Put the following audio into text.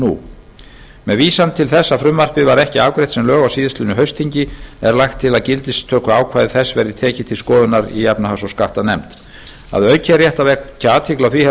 haustþingi með vísan til þess að frumvarpið var ekki afgreitt sem lög á síðastliðnu haustþingi er lagt til að gildistökuákvæði þess verði tekið til endurskoðunar í efnahags og skattanefnd að auki er rétt að vekja athygli á því